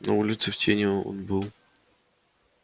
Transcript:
на улице в тени он был